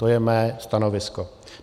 To je mé stanovisko.